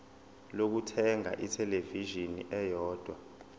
lokuthenga ithelevishini eyodwa